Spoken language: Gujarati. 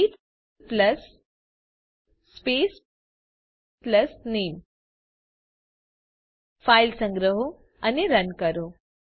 ગ્રીટ પ્લસ સ્પેસ પ્લસ નામે ફાઈલ સંગ્રહો અને રન કરો